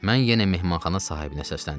Mən yenə mehmanxana sahibinə səsləndim.